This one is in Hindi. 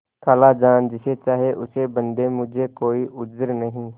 खालाजान जिसे चाहें उसे बदें मुझे कोई उज्र नहीं